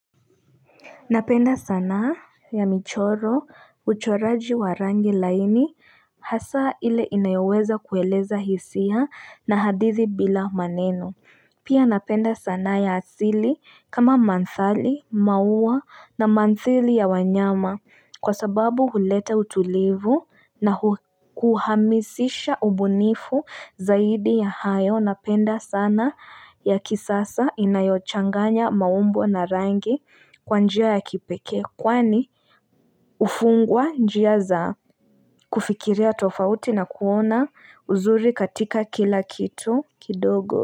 Napenda sana ya michoro, uchoraji wa rangi laini, hasa ile inayoweza kueleza hisia na hadithi bila maneno. Pia napenda sana ya asili kama manthali, maua na manthili ya wanyama kwa sababu huleta utulivu na kuhamisisha ubunifu zaidi ya hayo. Na penda sana ya kisasa inayochanganya maumbu na rangi kwanjia ya kipeke. Kwani ufungwa njia za kufikiria tofauti na kuona uzuri katika kila kitu kidogo.